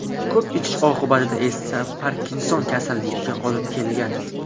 Ko‘p ichish oqibati esa Parkinson kasalligiga olib kelgan.